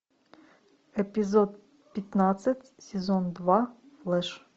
эпизод пятнадцать сезон два флэш